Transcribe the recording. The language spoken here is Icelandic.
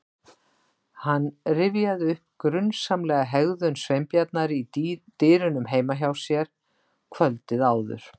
Hann rifjaði upp grunsamlega hegðun Sveinbjarnar í dyrunum heima hjá sér kvöldið áður.